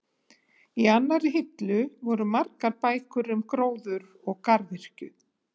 Í annarri hillu voru margar bækur um gróður og garðyrkju.